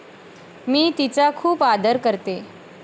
मी तिचा खूप आदर करते.